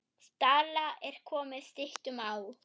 Stalla er komið styttum á.